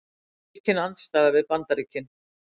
Aukin andstaða við Bandaríkin